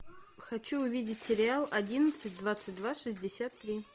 хочу увидеть сериал одиннадцать двадцать два шестьдесят три